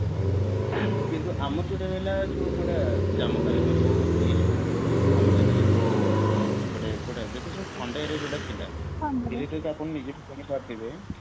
କିନ୍ତୁ ଆମର ଯୋଉଟା ରହିଲା ଯୋଉ କୋଉଟା ଜାମ୍ମୁ କାଶ୍ମୀର ହଉ ଏଇ ସବୁ ଆମର ଯେତେ ସବୁ ଏପଟେ କୋଉଟା ଯେତେସବୁ ଥଣ୍ଡା area ସବୁ ଥିଲା ଆପଣ ନିଜେ ବି